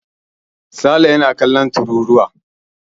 Sale na kallon tururuwa.